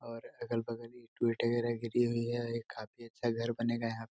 और अगल-बगल ईटा वगेरा गिरी हुई है यह काफी अच्छा घर बनेगा यहाँ --